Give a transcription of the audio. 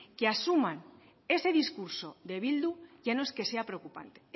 que asuman ese discurso de bildu ya no es que sea preocupante